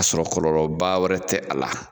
K'a sɔrɔ kɔlɔlɔ ba wɛrɛ tɛ a la.